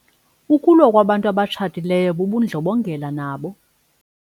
Ukulwa kwabantu abatshatileyo bubundlobongela nabo.